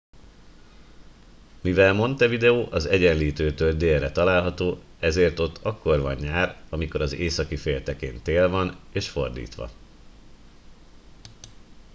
mivel montevideo az egyenlítőtől délre található ezért ott akkor van nyár amikor az északi féltekén tél van és fordítva